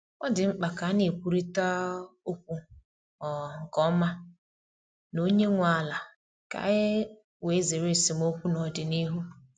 Ọ dị mkpa ka a na-ekwurịta um okwu um nke ọma na onye nwe ala ka e wee zere esemokwu n’ọdịnihu.